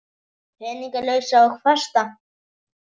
Peninga lausa og fasta?